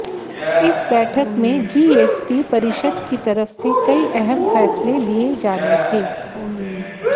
इस बैठक में जीएसटी परिषद की तरफ से कई अहम फैसले लिए जाने थे